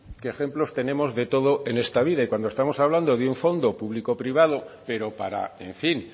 que ejemplos tenemos de todo esta vida y cuando estamos hablando de un fondo público privado pero para en fin